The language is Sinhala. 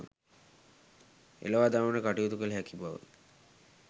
එළවා දමන්නට කටයුතු කළ හැකි බව